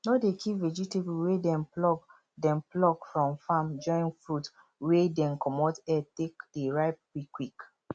no dey keep vegetable wey dem pluck dem pluck from farm join fruit wey dey comot air take dey ripe quick quick